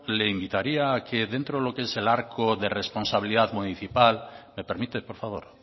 le invitaría a que dentro de lo que es el arco de responsabilidad municipal me permite por favor